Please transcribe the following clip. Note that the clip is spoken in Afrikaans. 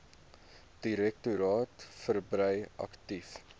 direktoraat verbrei aktief